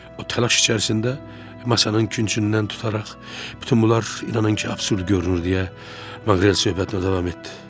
O təlaş içərisində masanın küncündən tutaraq, bütün bunlar inanın ki, absurd görünür deyə Maqrel söhbətinə davam etdi.